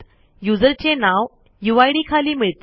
युजरचे नाव यूआयडी खाली मिळते